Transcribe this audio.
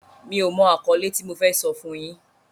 Mi ò mọ àkọ́lé tí mo fẹ́ sọ fún yín.